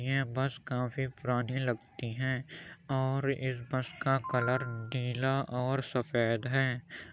ये बस काफी पुरानी लगती है और इस बस का कलर नीला और सफेद है।